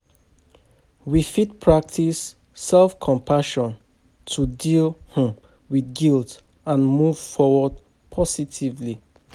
We fit practice self-compassion to deal um with guilt and move forward positively.